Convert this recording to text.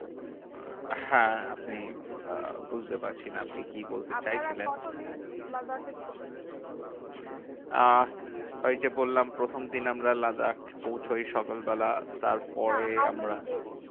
হ্যাঁ আপনি আহ বুঝতে পারছি না আপনি কি বলতে চাইছিলেন? আপনারা কতদিন লাদাখে ছিলেন? আহ ওইযে বললাম প্রথম দিন আমরা লাদাখ পৌঁছোই সকালবেলা। তারপরে না আমরা how many days?